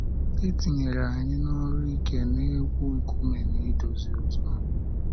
E tinyere anyị n’ọrụ ike, na-egwu nkume na idozi ụzọ.